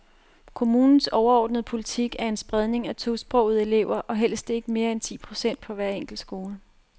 Kommunens overordnede politik er en spredning af tosprogede elever og helst ikke mere end ti procent på en enkelt skole.